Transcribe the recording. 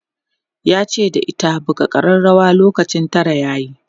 yace da ita"buga karrawar lokacin Tara yayi!'